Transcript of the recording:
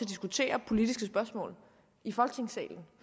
diskutere politiske spørgsmål i folketingssalen